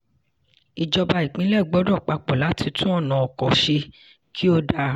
ìjọba ìpínlẹ̀ gbọ́dọ̀ papọ̀ láti tún ọ̀nà ọkọ̀ ṣe kí ó dáa.